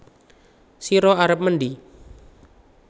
Sira arep mendhi